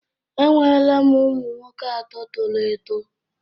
Enwere m ụmụ nwoke atọ toro eto